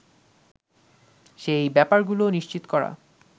সেই ব্যাপারগুলো নিশ্চিত করা